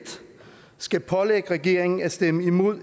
skal pålægge regeringen at stemme imod